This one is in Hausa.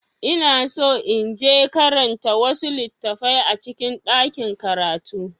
Ina so in je karanta wasu littattafai a cikin ɗakin karatu.